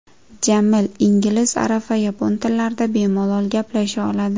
Jamil ingliz, arab va yapon tillarida bemalol gaplasha oladi.